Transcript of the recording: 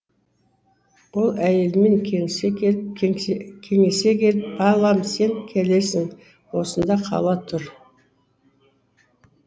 ол әйелімен кеңесе келіп балам сен келесің осында қала тұр